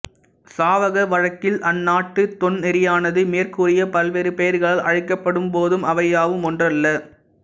சாவக வழக்கில் அந்நாட்டுத் தொன்னெறியானது மேற்கூறிய பல்வேறு பெயர்களால் அழைக்கப்படும் போதும் அவை யாவும் ஒன்றல்ல